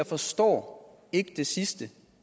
forstår det sidste